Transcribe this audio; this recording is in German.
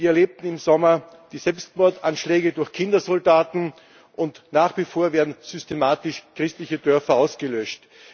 Wir erlebten im Sommer die Selbstmordanschläge durch Kindersoldaten, und nach wie vor werden systematisch christliche Dörfer ausgelöscht.